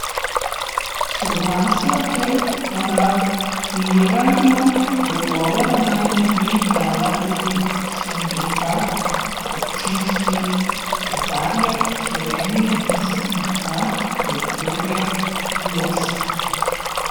Soglasja k parafiranju dogovora naj ne bi dala tudi Sindikat občinskih redarjev Slovenije in Sindikat kulture Glosa.